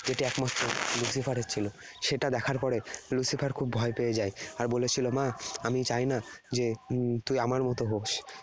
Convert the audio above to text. এটি একমাত্র Lucifer এর ছিল। সেটা দেখার পরে Lucifer খুব ভয় পেয়ে যায়। আর বলেছিল, 'মা, আমি চাইনা যে উম তুই আমার মত হোস।